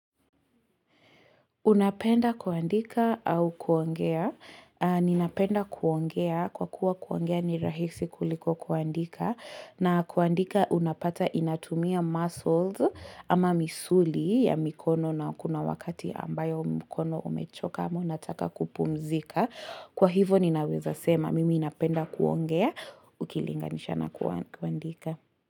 Unapenda kuandika au kuongea. Ninapenda kuongea, kwa kuwa kuongea ni rahisi kuliko kuandika. Na kuandika unapata inatumia muscles ama misuli ya mikono na kuna wakati ambayo mkono umechoka ama unataka kupumzika. Kwa hivo ninaweza sema, mimi napenda kuongea, ukilinganisha na kuandika.